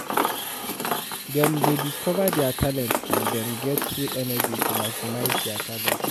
Dem de discover their talent and dem get full energy to maximise their talents